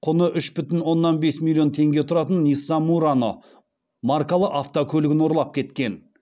құны үш жарым миллион теңге тұратын нисан мурано маркалы автокөлігін ұрлап кеткен